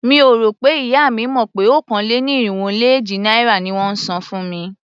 Mi ò rò pé ìyá mi mọ̀ pé okòó-lé-ní-irínwó-lé-éjì náírà ni wón ń san fún mi.